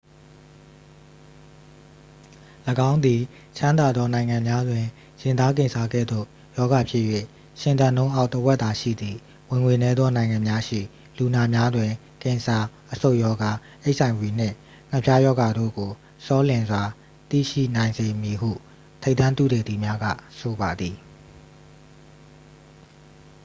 ၎င်းသည် ချမ်းသာသော နိုင်ငံများတွင် ရင်သားကင်ဆာ ကဲ့သို့ ရောဂါဖြစ်၍ ရှင်သန်နှုန်းအောက် တစ်ဝက်သာရှိသည့် ဝင်ငွေနည်းသော နိုင်ငံများရှိ လူနာများတွင် ကင်ဆာ အဆုတ်ရောဂါ အိတ်အိုင်ဗွီနှင့် ငှက်ဖျားရောဂါတို့ကို ဆောလျင်စွာ သိရှိနိုင်စေမည်ဟု ထိပ်တန်းသုတေသီများက ဆိုပါသည်